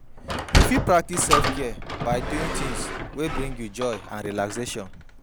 You fit practice self-care by doing tings wey bring you joy and relaxation.